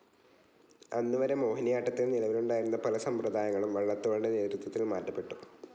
അന്നു വരെ മോഹിനിയാട്ടത്തിൽ നിലവിലുണ്ടായിരുന്ന പല സമ്പ്രദായങ്ങളും വള്ളത്തോളിന്റെ നേതൃത്വത്തിൽ മാറ്റപ്പെട്ടു.